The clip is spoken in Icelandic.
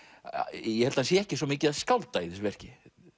ég held hann sé ekki svo mikið að skálda í þessu verki